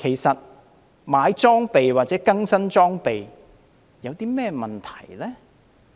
購買或更新裝備有甚麼問題呢？